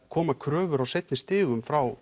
koma kröfur á seinni stigum frá